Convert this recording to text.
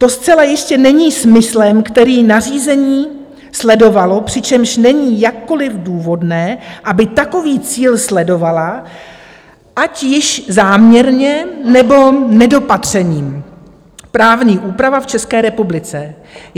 To zcela jistě není smyslem, který nařízení sledovalo, přičemž není jakkoliv důvodné, aby takový cíl sledovala, ať již záměrně, nebo nedopatřením, právní úprava v České republice.